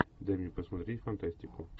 дай мне посмотреть фантастику